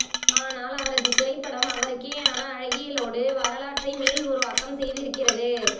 ஆனால் அவரது திரைப்படம் அவருக்கேயான அழகியலோடு வரலாற்றை மீள் உருவாக்கம் செய்திருக்கிறது